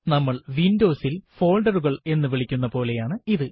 നമ്മൾ Windows ൽ folder കൾ എന്ന് വിളിക്കുന്ന പോലെയാണ് ഇത്